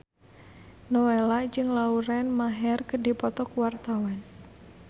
Nowela jeung Lauren Maher keur dipoto ku wartawan